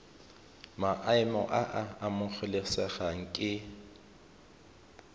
maemo a a amogelesegang ke